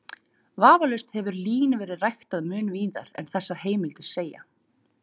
Vafalaust hefur lín verið ræktað mun víðar en þessar heimildir segja.